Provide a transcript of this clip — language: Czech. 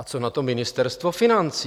A co na to Ministerstvo financí?